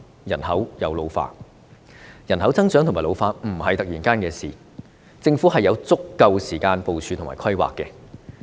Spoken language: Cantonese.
人口增長和老化不是突然發生的事情，政府是有足夠時間部署和規劃的。